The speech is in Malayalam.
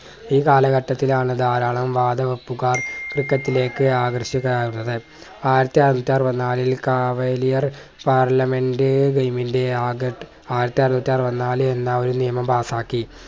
ഈ കാലഘട്ടത്തിൽ ആണ് ധാരാളം വാതുവെപ്പുകാർ ക്രിക്കറ്റിലേക്ക് ആകർഷകരാവുന്നത്. ആയിരത്തിഅറുന്നൂറ്റി അറവത്നാലിൽ കവടിയാർ പാർലമെന്റ് ആയിരത്തി അറുന്നൂറ്റി അറവത്നാല് എന്ന ഒരു നിയമം പാസ്സാക്കി